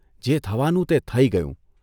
જે થવાનું તે થઇ ગયું.